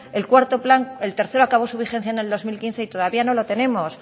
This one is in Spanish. el cuarto plan el tercero acabó su vigencia en el dos mil quince y todavía no lo tenemos